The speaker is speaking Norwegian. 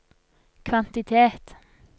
kvantitet